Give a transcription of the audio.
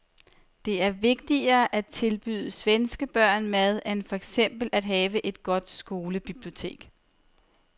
Det er vigtigere at tilbyde svenske børn mad end for eksempel at have et godt skolebibliotek.